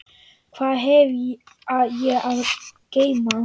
Hvað hef ég að geyma?